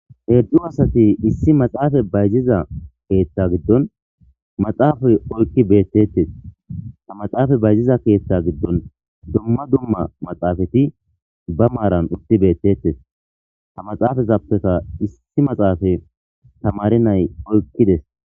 Hedzu asati issi maxafe bayizida ketha giddoni maxafe oyikidi bettesi. Ha maxafe bayizidda ketha gidoni duma duma maxafeti baa marani utidi betesi. Ha maxafetafeka issi maxafe tamare nai oyikidesi.